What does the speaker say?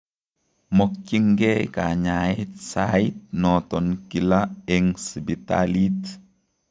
Mokyinkee kanyaeet saiit noton kila eng sipitalit